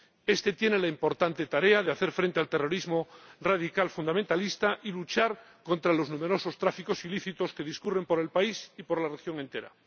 Este tendrá la importante tarea de hacer frente al terrorismo radical fundamentalista y luchar contra los numerosos tráficos ilícitos que discurren por el país y por la región entera.